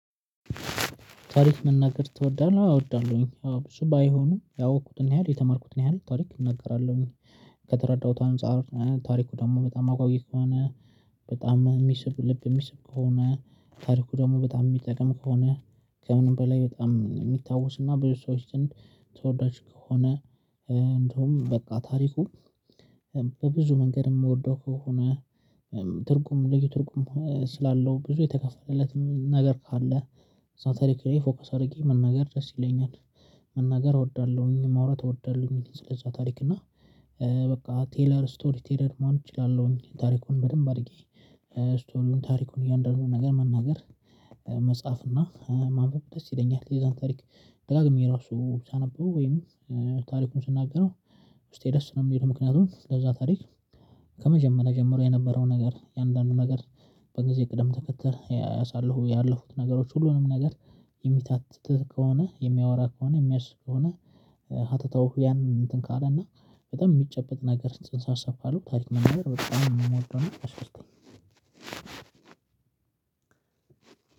ታሪክ መናገር ትወዳለህ አወዳለሁኝ እሱ ባይሆኑም ያወቅኩትን ያህል የተማርኩትን ያህል ታሪክ እናገራለሁኝ። ከተረዳሁት አንፃር ታሪኩ ደግሞ በጣም አጓጊ ከሆነ በጣም የሚስብ ልብ የሚስብ ከሆነ ታሪኩ ደግሞ በጣም የሚጠቅም ከሆነ ከምንም በላይ በጣም የሚታወስ እና ብዙ ሰዎች ግን ተወዳጅ ከሆነ እንደውም በቃ ታሪኩ በብዙ መንገድ የምወደው ከሆነ ትርጉም ልጅ ትርጉም ስላለው ብዙ የተከፈለለትም ነገር ካለ ሳንተሪክ ላይ ፎከስ አድርጌ መናገር ደስ ይለኛል። መናገር እወዳለሁኝ ማውራት እወዳለሁኝ ስለዛ ታሪክ እና በቃ ቴለር ስቶሪ ቴለር መሆን እችላለሁኝ። ታሪኩን በደንብ አድርጌ ስቶሪውን ታሪኩን እያንዳንዱን ነገር መናገር መጻፍ እና ማንበብ ደስ ይለኛል። የዛን ታሪክ ደጋግሜ ራሱ ሳነበው ወይም ታሪኩን ስናገረው ውስጤ ደስ ነው የሚለው። ምክንያቱም ለዛ ታሪክ ከመጀመሪያ ጀምሮ የነበረውን ነገር የአንዳንዱ ነገር። በጊዜ ቅደም ተከተል ያሳለፉት ያለፉት ነገሮች ሁሉንም ነገር። የሚታተትህ ከሆነ የሚያወራ ከሆነ የሚያስብ ከሆነ። ሀተታው ያንን እንትን ካለ እና በጣም የሚጨበጥ ነገር ጽንሰ አሰፋለሁ ታዲያ መናገር በጣም የምሞተው ነው አስቀምጠኝ።